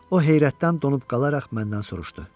O heyrətdən donub qalaraq məndən soruşdu: